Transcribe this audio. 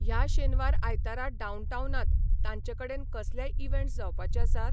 ह्या शेनवार आयतारा डाउनटाउनांत तांचेकडेन कसलेय इवँट्स जावपाचे आसात?